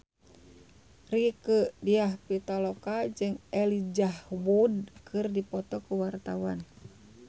Rieke Diah Pitaloka jeung Elijah Wood keur dipoto ku wartawan